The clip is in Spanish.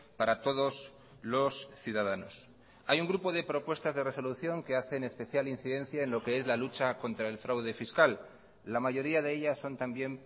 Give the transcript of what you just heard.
para todos los ciudadanos hay un grupo de propuestas de resolución que hacen especial incidencia en lo que es la lucha contra el fraude fiscal la mayoría de ellas son también